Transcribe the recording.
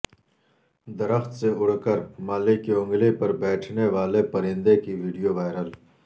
درخت سے اڑ کر مالک کی انگلی پربیٹھنے والے پرندے کی وڈیو وائرل